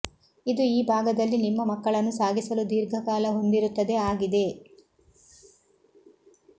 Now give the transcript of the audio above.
ಇದು ಈ ಭಾಗದಲ್ಲಿ ನಿಮ್ಮ ಮಕ್ಕಳನ್ನು ಸಾಗಿಸಲು ದೀರ್ಘಕಾಲ ಹೊಂದಿರುತ್ತದೆ ಆಗಿದೆ